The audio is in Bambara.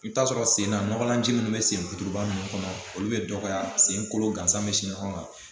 I bɛ taa sɔrɔ sen na nɔgɔlan ji minnu bɛ sen fitoliba ninnu kɔnɔ olu bɛ dɔgɔya sen kolo gansan bɛ si ɲɔgɔn kan